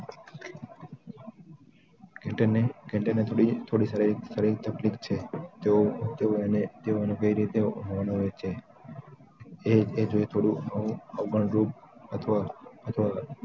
can ને થોડી થોડી તકલીફ છે તેઓ અને તેઓનું કઈ રીતે હોર્ન હોય છે એ જો થોડું અવગણ રૂપ અથવા અથવા